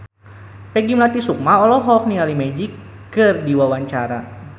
Peggy Melati Sukma olohok ningali Magic keur diwawancara